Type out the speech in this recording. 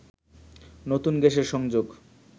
নতুন গ্যাসের সংযোগ